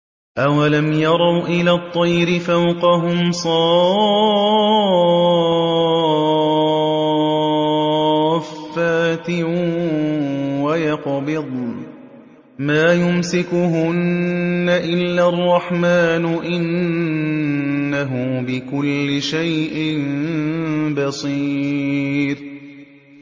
أَوَلَمْ يَرَوْا إِلَى الطَّيْرِ فَوْقَهُمْ صَافَّاتٍ وَيَقْبِضْنَ ۚ مَا يُمْسِكُهُنَّ إِلَّا الرَّحْمَٰنُ ۚ إِنَّهُ بِكُلِّ شَيْءٍ بَصِيرٌ